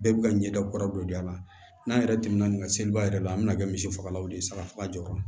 Bɛɛ bi ka ɲɛda kuraw de don a la n'an yɛrɛ tɛmɛna ni ka seliba yɛrɛ la an bɛna kɛ misi fagalaw de ye saga faga jɔra